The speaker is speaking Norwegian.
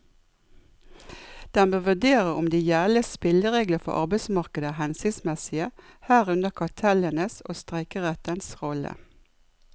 Den bør vurdere om de gjeldende spilleregler for arbeidsmarkedet er hensiktsmessige, herunder kartellenes og streikerettens rolle.